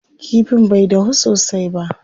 Kifin bai dahu sosai ba.